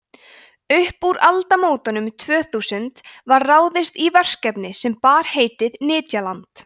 upp úr aldamótunum tvö þúsund var ráðist í verkefni sem bar heitið nytjaland